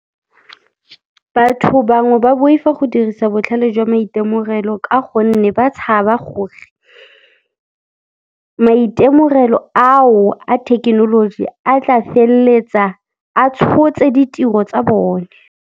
Batho bangwe ba boifa go dirisa botlhale jwa maitemogelo ka gonne ba tshaba gore maitemogelo ao a thekenoloji a tla feleletsa a tshotse ditiro tsa bone.